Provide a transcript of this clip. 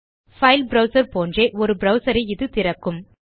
file browser போன்றே ஒரு browser ஐ இது திறக்கும்